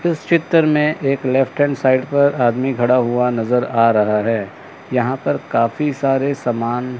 इस चित्र में एक लेफ्ट हैंड साइड पर आदमी खड़ा हुआ नजर आ रहा हैं यहां पर काफी सारे समान--